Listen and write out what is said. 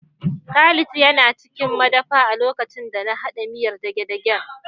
Khalid yana cikin madafa a lokacin da na haɗa miyar dagedagen